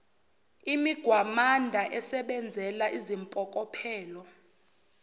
imigwamanda esebenzela izimpokophelo